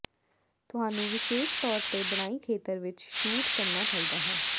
ਤੁਹਾਨੂੰ ਵਿਸ਼ੇਸ਼ ਤੌਰ ਤੇ ਬਣਾਈ ਖੇਤਰ ਵਿੱਚ ਸ਼ੂਟ ਕਰਨਾ ਚਾਹੀਦਾ ਹੈ